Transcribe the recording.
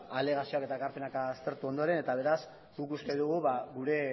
alegazioak eta ekarpenak aztertu ondoren eta beraz guk uste dugu gure